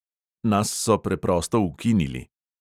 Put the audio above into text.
Nas so preprosto ukinili.